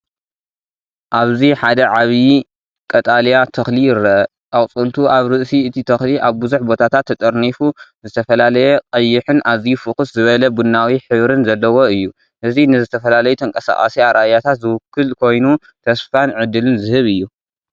እዚ ሓደ ዓቢ ቀጠልያ ተኽሊ ይርአ። ኣቝጽልቱ ኣብ ርእሲ እቲ ተኽሊ ኣብ ብዙሕ ቦታታት ተጠርኒፉ፡ ዝተፈላለየ ቀይሕን ኣዝዩ ፍኹስ ዝበለ ቡናዊ ሕብሪ ዘለዎን እዩ። እዚ ንዝተፈላለዩ ተንቀሳቓሲ ኣረኣእያታት ዝውክል ኮይኑ፡ ተስፋን ዕድልን ዝህብ እዩ።